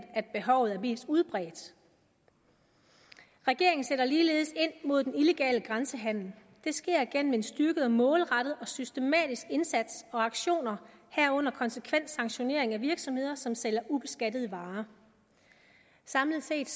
behovet er mest udbredt regeringen sætter ligeledes ind mod den illegale grænsehandel det sker gennem en styrket og målrettet og systematisk indsats og aktioner herunder konsekvent sanktionering af virksomheder som sælger ubeskattede varer samlet set